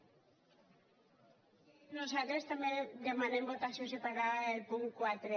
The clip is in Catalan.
nosaltres també demanem votació separada del punt quaranta un